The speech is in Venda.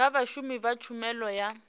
kha vhashumi vha tshumelo ya